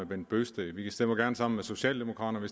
bent bøgsted vi stemmer gerne sammen socialdemokraterne